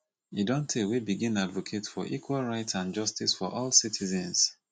e don tey wey begin advocate for equal right and justice for all citizens